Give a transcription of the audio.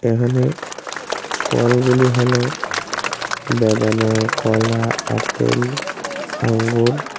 এখানে ফল গুলি হল বেদানা কলা আপেল আঙ্গুর।